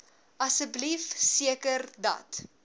asseblief seker dat